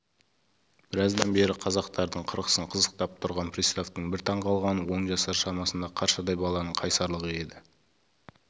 біраздан бері қазақтардың қырқысын қызықтап тұрған приставтың бір таң қалғаны он жасар шамасындағы қаршадай баланың қайсарлығы еді